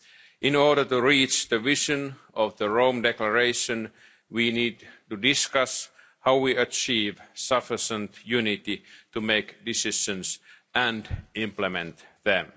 In order to realise the vision of the Rome Declaration we need to discuss how we achieve sufficient unity to make decisions and implement them.